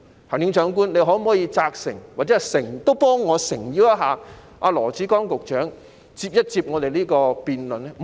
行政長官，你可否責成或替我誠邀羅致光局長與我們進行辯論呢？